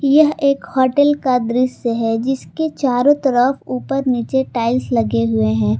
यह एक होटल का दृस्य है जिसके चारों तरफ ऊपर नीचे टाइल्स लगे हुए हैं ।